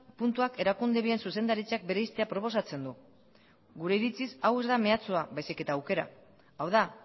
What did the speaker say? puntuak erakunde bien zuzendaritzak bereiztea proposatzen du gure iritziz hau ez da mehatxua baizik eta aukera hau da